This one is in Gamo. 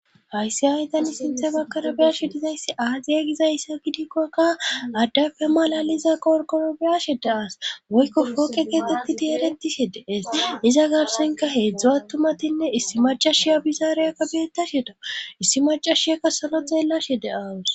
Hayssi aydani sinthe bakkara biyashe dizayssi aaziya gizayssa gidikkokka addafe malaliza qorkoro biyashe deas woykko fooqe geetetti di eretishe deees iza gabsenka heedzdzo attumatinne issi macashiya bizaariyakka beettasheda issi macashiyakka salo xeellashe de awus.